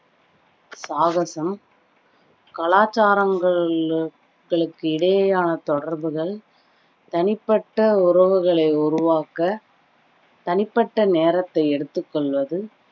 சாகசம் கலாச்சாரங்கள்~ களுக்கு இடையே ஆன தொடர்புகள் தனிப்பட்ட உறவுகளை உருவாக்க தனிபட்ட நேரத்தை எடுத்துக்கொள்வது